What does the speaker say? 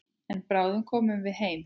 En bráðum komum við heim.